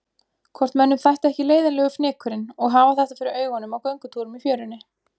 Hvort mönnum þætti ekki leiðinlegur fnykurinn og hafa þetta fyrir augunum á göngutúrum í fjörunni.